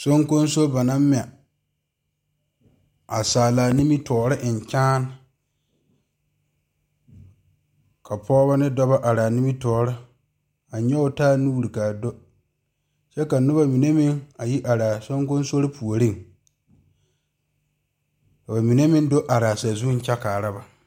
Soŋkoso ba naŋ mɛ a saala nimitɔɔre eŋ kyaane ka pɔgeba ne dɔɔba are nimitɔɔre a nyoŋ taa nuure kaa do kyɛ ka noba mine meŋ yi are a soŋkoso puori ka bamine meŋ do are a saazu kyɛ kaare ba.